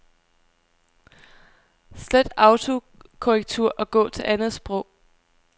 Slet autokorrektur og gå til andet sprog.